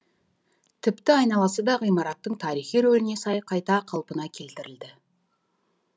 тіпті айналасы да ғимараттың тарихи рөліне сай қайта қалпына келтірілді